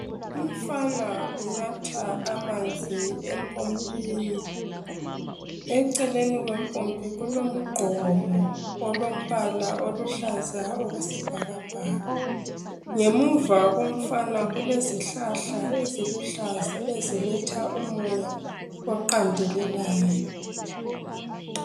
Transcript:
Umfana unatha amanzi empompini eceleni kwempompi kulomgqomo olombala oluhlaza okwesibhakabhaka ngemuva komfana kulezihlahla eziluhlaza eziletha umoya oqandelelayo.